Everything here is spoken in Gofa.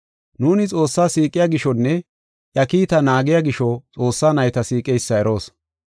Nuuni Xoossaa siiqiya gishonne iya kiitaa naagiya gisho Xoossaa nayta siiqeysa eroos.